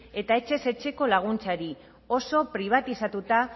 eta etxez etxeko laguntzari oso pribatizatuta